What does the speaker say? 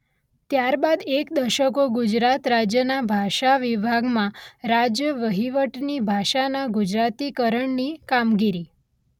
ત્યારબાદ એક દશકો ગુજરાત રાજ્યના ભાષાવિભાગમાં રાજ્યવહીવટની ભાષાના ગુજરાતીકરણની કામગીરી.